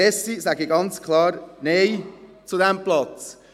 Deshalb sage ich ganz klar Nein zu diesem Platz.